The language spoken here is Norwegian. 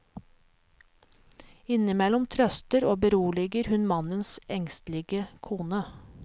Innimellom trøster og beroliger hun mannens engstelige kone.